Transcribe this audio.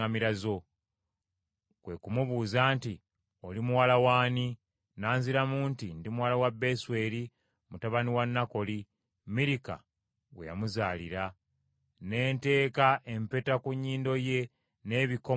“Kwe ku mubuuza nti, ‘Oli muwala w’ani?’ N’anziramu nti, ‘Ndi muwala wa Besweri, mutabani wa Nakoli, Mirika gwe yamuzaalira.’ Ne nteeka empeta ku nnyindo ye n’ebikomo ku mikono gye.